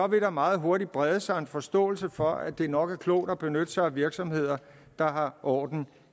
vil der meget hurtigt brede sig en forståelse for at det nok er klogt at benytte sig af virksomheder der har orden